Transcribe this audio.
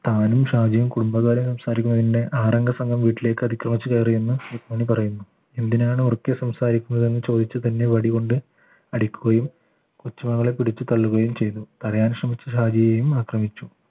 താനും ഷാജി കുടുംബ കാര്യം സംസാരിക്കുന്നതിന്റെ ആറംഗസംഘം വീട്ടിലേക്ക് അതിക്രമിച്ച കയറിയെന്ന് രുക്മിണി പറയുന്നു എന്തിനാണ് ഉറക്കെ സംസാരിക്കുന്നത് എന്ന് ചോദിച്ച് തന്നെ വടികൊണ്ട് അടിക്കുകയും കൊച്ചുമകളെ പിടിച്ചു തള്ളുകയും ചെയ്തു തടയാൻ ശ്രമിച്ച ഷാജിയെയും ആക്രമിച്ചു